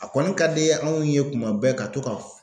A kɔni ka di anw ye tuma bɛɛ ka to ka f